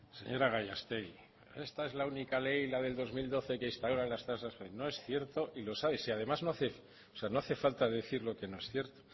señora gallastegui esta es la única ley la del dos mil doce que instauró las tasas judiciales no es cierto y lo sabe si además no hace falta decir lo que no es cierto